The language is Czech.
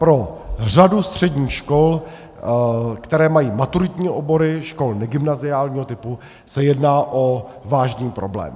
Pro řadu středních škol, které mají maturitní obory, škol negymnaziálního typu, se jedná o vážný problém.